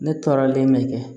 Ne tɔɔrɔlen bɛ kɛ